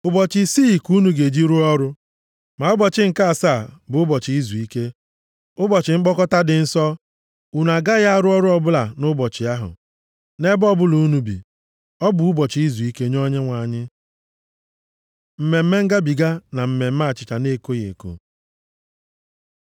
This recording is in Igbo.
“ ‘Ụbọchị isii ka unu ga-eji rụọ ọrụ. Ma ụbọchị nke asaa, bụ ụbọchị izuike, ụbọchị mkpọkọta dị nsọ. Unu agaghị arụ ọrụ ọbụla nʼụbọchị ahụ, nʼebe ọbụla unu bi. Ọ bụ ụbọchị izuike nye Onyenwe anyị. Mmemme Ngabiga na Mmemme Achịcha na-ekoghị eko